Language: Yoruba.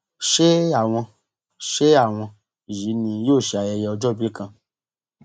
ṣé àwọn ṣé àwọn yìí ni yóò ṣe ayẹyẹ ọjọòbí kan